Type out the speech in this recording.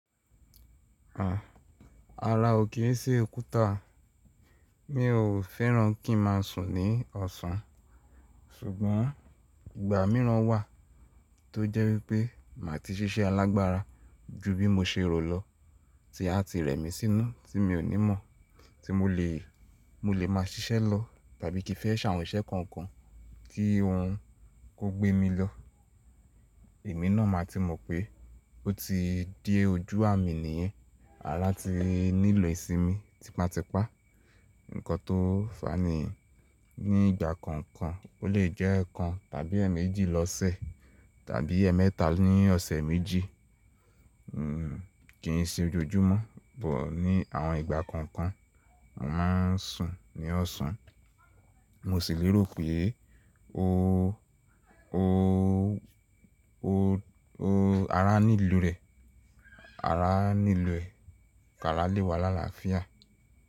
À, ara ò kì í ṣe òkúta, mi ò fẹ́ràn kí n má sùn ní ọ̀sán, ṣùgbọ́n ìgbà mìíràn wà tó jẹ́ wípé má ti ṣíṣẹ́ alágbára ju bí mo ṣe rò lọ tí a ti rẹ̀ mí sínú tí mi ò ní mọ̀ tí mo lè, mo lè má ṣiṣẹ́ lọ tàbí kí fẹ́ ṣàwọn iṣẹ́ kankan tí ohun kò gbé mi lọ. Ẹ̀mí náà má ti mọ̀ pé ó ti dé ojú à mi nìyẹn. Ara ti nílò ìsinmi tipátipá, nǹkan tó fani ní ìgbà kankan ó lè jẹ́ kan tàbí ẹ̀mẹ́jì lọ́sẹ̀ tàbí ẹ̀ẹ̀mẹ́ta ní ọ̀sẹ̀ méjì. Hmm kíin ṣe ojoojúmọ́ bọ̀ ní àwọn ìgbà kankan, mò má n sùn ní ọ̀sán. Mo sì lérò pé ó, ó, ó, ó ara nílò rẹ̀, ara nílò ẹ̀, kárá lè wà lála fìyà.